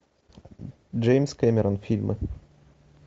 джеймс кэмерон фильмы